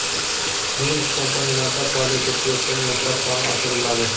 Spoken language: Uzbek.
Nemis kompaniyalarida faoliyat yuritayotgan yoshlar soni oshiriladi.